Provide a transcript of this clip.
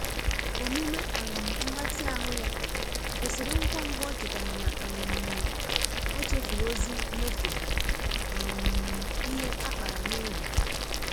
Omume um mgbatị ahụ ya kwụsịrị ngwangwa o chetara na um ochefuru ozi nyefe um ihe a kpara n'oge.